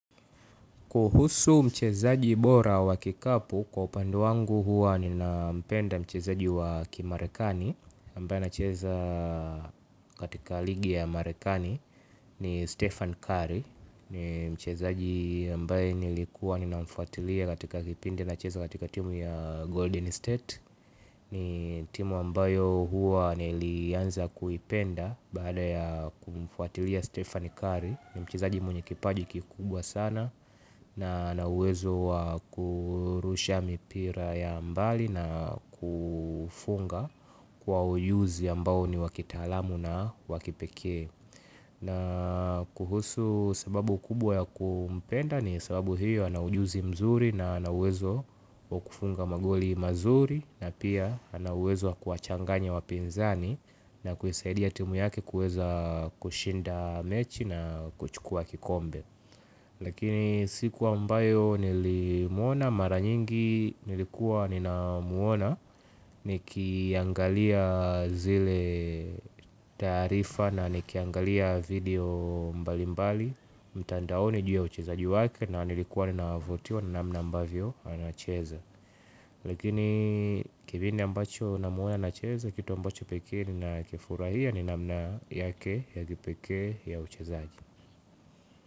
Kuhusu mchezaji bora wa kikapu kwa upande wangu huwa ninampenda mchezaji wa kimarekani ambaye anacheza katika ligi ya amarekani ni Stephen Curry. Ni mchezaji ambaye nilikuwa ninamfuatilia katika kipindi anacheza katika timu ya Golden State. Ni timu ambayo huwa nilianza kuipenda baada ya kumfuatilia Stephen Curry. Ni mchezaji mwenye kipaji kikubwa sana. Na anawezo wa kurusha mipira ya mbali na kufunga kwa ujuzi ambao ni wa kitalamu na wa kipekee. Na kuhusu sababu kubwa ya kumpenda ni sababu hiyo anaujuzi mzuri na anauwezo wa kufunga magoli mazuri. Na pia ana uwezo wa kuwachanganya wapinzani na kuisaidia timu yake kueza kushinda mechi na kuchukua kikombe. Lakini siku ambayo nilimuona mara nyingi nilikuwa nina muona nikiangalia zile taarifa na nikiangalia video mbali mbali mtandaoni ju ya uchezaji wake na nilikuwa ninavotiwa na namna ambavyo anacheza. Lakini kibindi ambacho namuona anacheza kitu ambacho peke nina kifurahia ni namna yake ya kipekee ya uchezaji.